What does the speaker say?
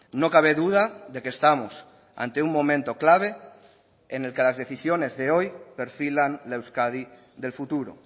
no cabe duda de que estamos ante un momento clave en el que las decisiones de hoy perfilan la euskadi del futuro